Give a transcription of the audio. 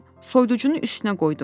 Soyuducunun üstünə qoydum.